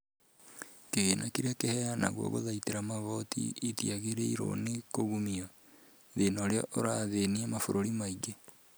Kĩgĩna kĩrĩa kĩheanagwo gũthaitĩra mogwati itiagĩrĩirwo nĩ kungumio, thĩna ũrĩa ũrathĩnia mabũrũri maingĩ